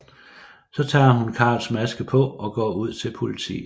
Så tager hun Carls maske på og går ud til politiet